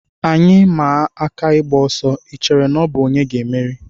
Anyị maa aka ịgba ọsọ, I chere na ọ bụ onye ga-emeri?